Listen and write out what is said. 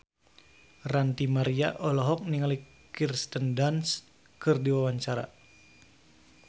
Ranty Maria olohok ningali Kirsten Dunst keur diwawancara